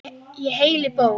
Í heilli bók.